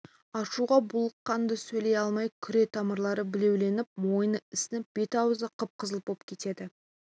ашуға булыққанда сөйлей алмай күре тамырлары білеуленіп мойны ісініп бет-аузы қып-қызыл боп кетеді